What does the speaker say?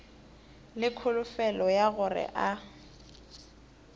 le kholofelo ya gore a